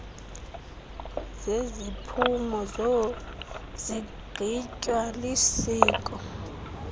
zeziphumo zigqitywa lisiko